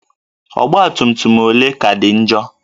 Ọgbatumtum ole ka dị njọ?